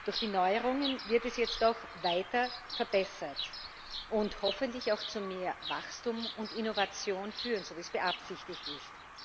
Durch die Neuerungen wird es jetzt auch weiter verbessert und hoffentlich auch zu mehr Wachstum und Innovation führen, so wie es beabsichtigt ist.